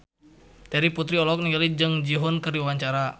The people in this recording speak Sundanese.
Terry Putri olohok ningali Jung Ji Hoon keur diwawancara